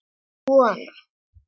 Svona